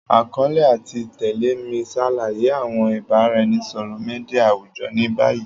Akọọlẹ ati tẹle mi ṣalaye awọn ibaraẹnisọrọ media awujọ ni bayi.